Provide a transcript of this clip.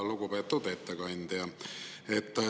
Lugupeetud ettekandja!